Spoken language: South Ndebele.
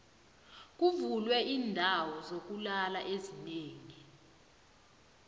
kuvulwe iindawo zokulala ezinengi